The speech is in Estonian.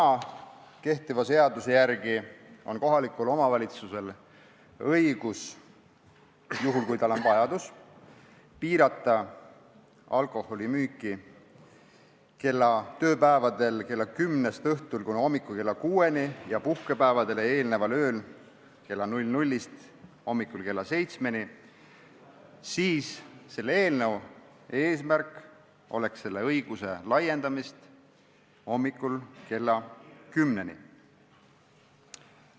Kui kehtiva seaduse järgi on kohalikul omavalitsusel õigus – juhul kui tal on see vajadus – piirata alkoholimüüki tööpäevadel õhtul kella kümnest kuni hommikul kella kuueni ja puhkepäevadele eelneval ööl kella 00-st hommikul kella seitsmeni, siis selle eelnõu eesmärk on seda õigust laiendada hommikul kella kümneni.